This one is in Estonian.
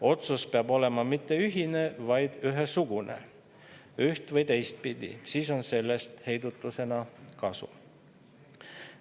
Otsus peab olema mitte ühine, vaid ühesugune, üht‑ või teistpidi, siis on sellest heidutusena kasu.